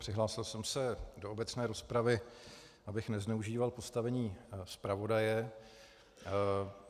Přihlásil jsem se do obecné rozpravy, abych nezneužíval postavení zpravodaje.